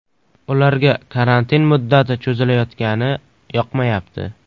Ularga karantin muddati cho‘zilayotgani yoqmayapti.